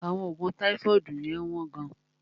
Àwọn oògùn táífọ́ọ̀dù yẹ́n wọ́n gán.